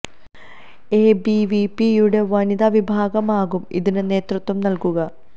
A B V പിയുടെ വനിതാ വിഭാഗമാകും ഇതിന് നേതൃത്വം നൽകുക